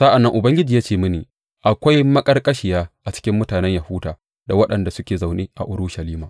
Sa’an nan Ubangiji ya ce mini, Akwai maƙarƙashiya a cikin mutanen Yahuda da waɗanda suke zaune a Urushalima.